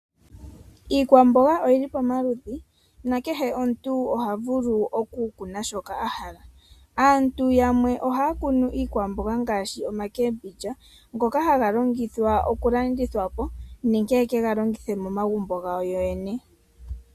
Iikwamboga oyi li pamaludhi, nakehe omuntu oha vulu okukuna shoka a hala. Aantu yamwe ohaya kunu iikwamboga ngaashi omboga ndjoka hayi longithwa okulandithwapo nenge ye ke ga longith momagumbo gawo yoyene.